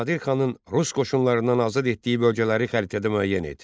Nadir xanın rus qoşunlarından azad etdiyi bölgələri xəritədə müəyyən et.